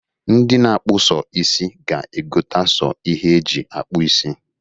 Ndi na-akpụ so isị ga-egota so ihe e ji akpụ isi.